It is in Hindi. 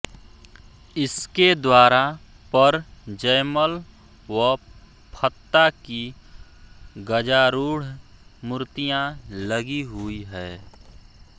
इसके द्वारा पर जयमल व फत्ता की गजारूढ़ मूर्तियां लगी हुई है